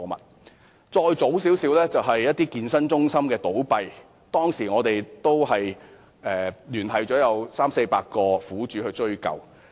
把時間再推前一些，當一間健身公司倒閉時，我們當時也聯繫了三四百名苦主，協助追究。